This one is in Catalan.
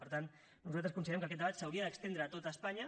per tant nosaltres considerem que aquest debat s’hauria d’estendre a tot espanya